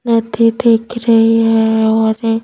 नदी दिख रही है और--